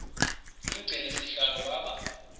umgcini sihlalo waba